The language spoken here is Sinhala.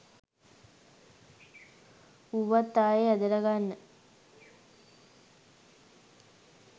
ඌවත් ආයේ ඇදලා ගන්න